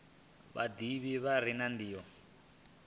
vhadivhi vha re na ndivho